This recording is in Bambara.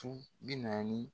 Su bi naani